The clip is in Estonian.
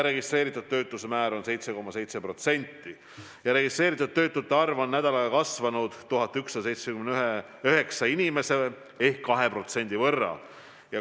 Registreeritud töötuse määr on 7,7% ja registreeritud töötute arv on nädalaga kasvanud 1179 inimese ehk 2% võrra.